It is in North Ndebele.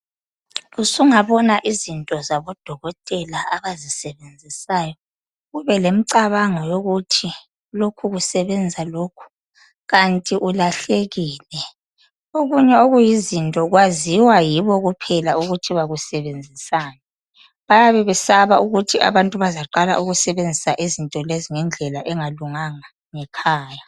usungabona izinto zabodokotela abazisebenzisayo kube lemicabango yokuthi lokhu kusebenza lokhu kanti ulahlekile okunye okuyizinto kwaziwa yibo uphela ukuthi bakusebenzisani bayabe besaba ukuthi abantu bazaqala ukusebenzisa izinto lezi ngendlela engalunganga ngekhaya